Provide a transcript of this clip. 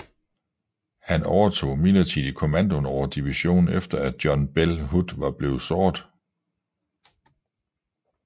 Han overtog midlertidig kommandoen over divisionen efter at John Bell Hood var blevet såret